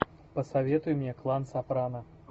посоветуй мне клан сопрано